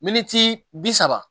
Miniti bi saba